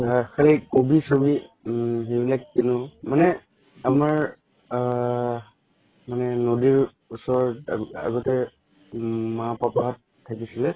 খালি কবি চবি উম সেইবিলাক কিনো মানে আমাৰ আ নদি ওচৰত আগতে উম মা পাপা থাকিছিলে